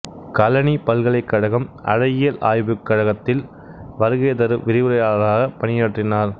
களனி பல்கலைக்கழகம் அழகியல் ஆய்வுக் கழகத்தில் வருகைதரு விரிவுரையாளராகப் பணியாற்றினார்